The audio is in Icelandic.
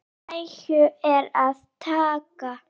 Af nægu er að taka!